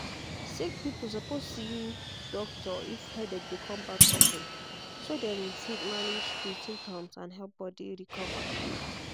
sick people suppose see doctor if headache dey come back of ten so dem fit manage di symptoms and help body recover.